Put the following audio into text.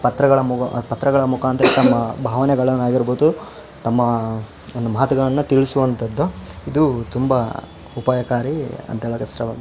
ಪತ್ರ ಮುಗ ಆದ್ ಪತ್ರಗಳ ಮುಖಾಂತರ ತನ್ನ ಭಾವನೆಗಳನ್ನು ಆಗಿರ್ಬಹುದು ತಮ್ಮಾ ಒಂದು ಮಾತುಗಳನ್ನು ತಿಳಿಸುವಂತದ್ದು ಇದು ತುಂಬ ಉಪಾಯಕಾರಿ ಅಂತ ಎಳಕಸ್ಟ --